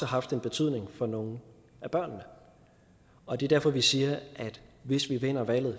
haft en betydning for nogle af børnene og det er derfor vi siger at hvis vi vinder valget